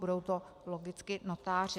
Budou to logicky notáři.